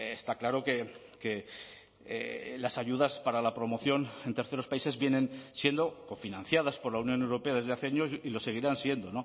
está claro que las ayudas para la promoción en terceros países vienen siendo cofinanciadas por la unión europea desde hace años y lo seguirán siendo